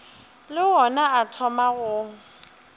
le ona a thoma go